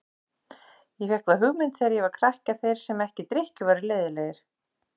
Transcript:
Ég fékk þá hugmynd þegar ég var krakki að þeir sem ekki drykkju væru leiðinlegir.